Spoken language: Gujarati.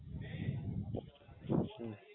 હમ